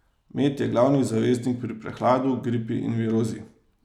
Med je glavni zaveznik pri prehladu, gripi in virozi.